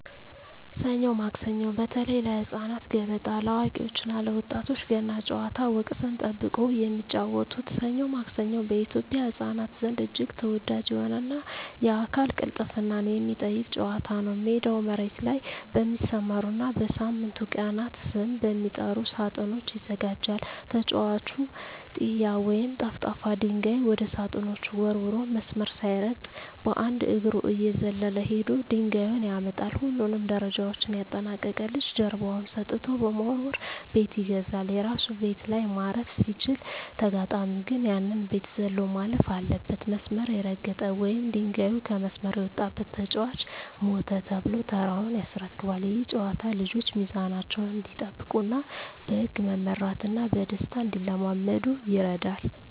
ሰኞ ማክሰኞ (በተለይ ለህፃናት)፣ገበጣ (ለአዋቂዎች እና ለወጣቶች)፣ ገና ጨዋታ (ወቅትን ጠብቆ የሚጫወቱት) "ሰኞ ማክሰኞ" በኢትዮጵያ ህፃናት ዘንድ እጅግ ተወዳጅ የሆነና የአካል ቅልጥፍናን የሚጠይቅ ጨዋታ ነው። ሜዳው መሬት ላይ በሚሰመሩና በሳምንቱ ቀናት ስም በሚጠሩ ሳጥኖች ይዘጋጃል። ተጫዋቹ "ጢያ" ወይም ጠፍጣፋ ድንጋይ ወደ ሳጥኖቹ ወርውሮ፣ መስመር ሳይረግጥ በአንድ እግሩ እየዘለለ ሄዶ ድንጋዩን ያመጣል። ሁሉንም ደረጃዎች ያጠናቀቀ ልጅ ጀርባውን ሰጥቶ በመወርወር "ቤት ይገዛል"። የራሱ ቤት ላይ ማረፍ ሲችል፣ ተጋጣሚው ግን ያንን ቤት ዘሎ ማለፍ አለበት። መስመር የረገጠ ወይም ድንጋዩ ከመስመር የወጣበት ተጫዋች "ሞተ" ተብሎ ተራውን ያስረክባል። ይህ ጨዋታ ልጆች ሚዛናቸውን እንዲጠብቁና በህግ መመራትን በደስታ እንዲለማመዱ ይረዳል።